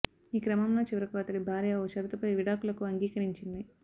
ఈ క్రమంలో చివరకు అతడి భార్య ఓ షరతుపై విడాకులకు అంగీకరించింది